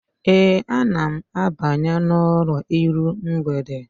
Ee, ana m abanye n'ụlọ iru mgbede.